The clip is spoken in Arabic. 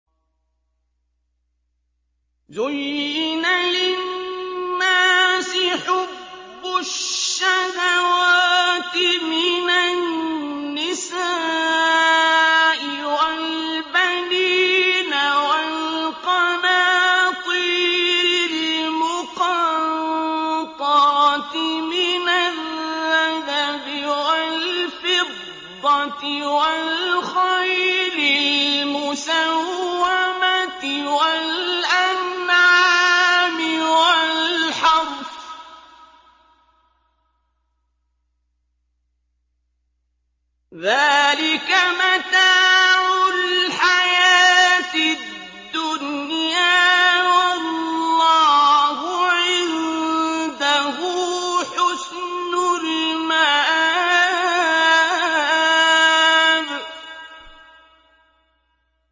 زُيِّنَ لِلنَّاسِ حُبُّ الشَّهَوَاتِ مِنَ النِّسَاءِ وَالْبَنِينَ وَالْقَنَاطِيرِ الْمُقَنطَرَةِ مِنَ الذَّهَبِ وَالْفِضَّةِ وَالْخَيْلِ الْمُسَوَّمَةِ وَالْأَنْعَامِ وَالْحَرْثِ ۗ ذَٰلِكَ مَتَاعُ الْحَيَاةِ الدُّنْيَا ۖ وَاللَّهُ عِندَهُ حُسْنُ الْمَآبِ